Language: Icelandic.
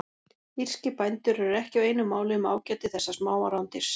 Írskir bændur eru ekki á einu máli um ágæti þessa smáa rándýrs.